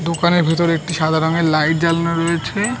দোকানের ভিতরে একটি সাদা রঙের লাইট জ্বালানো রয়েছে ।